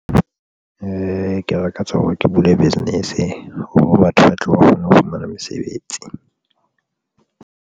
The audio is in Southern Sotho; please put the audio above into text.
Ke lakatsa hore ke bule business hore batho ba tle ba kgone ho fumana mesebetsi.